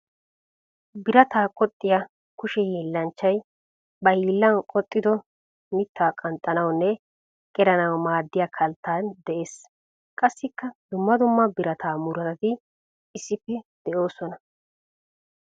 Birataa qoxiya kushe hiillanchchay ba hiillan qoxiddo mita qanxxanawunne qeranawu maaddiya kalttay de'ees. Qassikka dumma dumma birataa murutatti issippe de'osoona.